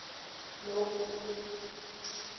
lokhu